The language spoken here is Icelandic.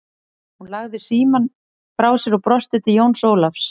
Hún lagði síamm frá sér og brosti til Jóns Ólafs.